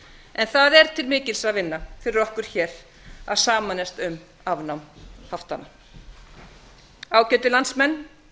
en það er til mikils að vinna fyrir okkur hér að sameinast um afnám haftanna ágætu landsmenn